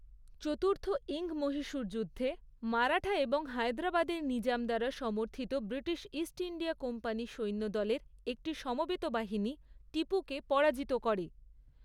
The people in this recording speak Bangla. চতুর্থ ইঙ্গ মহীশূর যুদ্ধে, মারাঠা এবং হায়দ্রাবাদের নিজাম দ্বারা সমর্থিত ব্রিটিশ ইস্ট ইন্ডিয়া কোম্পানি সৈন্যদলের একটি সমবেত বাহিনী টিপুকে পরাজিত করে।